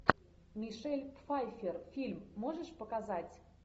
мишель пфайффер фильм можешь показать